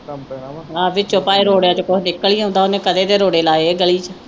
ਆ ਵਿਚੋਂ ਭਾਵੇ ਰੋੜਿਆਂ ਵਿਚੋਂ ਕੁਝ ਨਿਕਲ ਹੀ ਆਉਦਾ ਉਹਨੇ ਕਦੇ ਦੇ ਰੋੜੇ ਲਾਏ ਗਲੀ ਵਿਚ